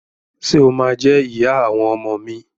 Ṣe o ma jẹ ìyá àwọn ọmọ mi?